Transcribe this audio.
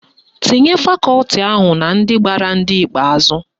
Tinye fakọti ahụ na ndị gbara ndị ikpeazụ